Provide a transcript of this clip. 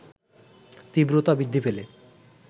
তীব্রতা বৃদ্ধি পেলে